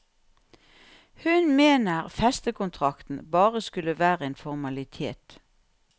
Hun mener festekontrakten bare skulle være en formalitet.